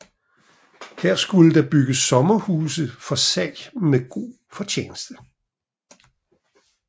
Her skulle der bygges sommerhuse for salg med god fortjeneste